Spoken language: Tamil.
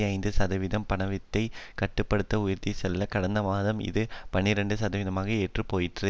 ஐந்து சதவிகிதம் பணவீக்கத்தை கட்டு படுத்த உயர்த்தியுள்ளது கடந்த மாதம் இது பனிரண்டு சதவிகதம் என்று போயிற்று